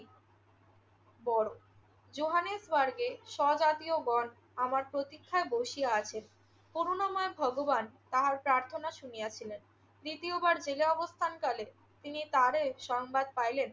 বড়। জোহানেসবার্গে স্বজাতীয়গণ আমার প্রতীক্ষায় বসিয়া আছেন। করুণাময় ভগবান তাহার প্রার্থনা শুনিয়াছিলেন। দ্বিতীয়বার জেলে অবস্থানকালে তিনি তারে সংবাদ পাইলেন